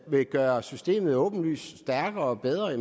vil gøre systemet åbenlyst stærkere og bedre er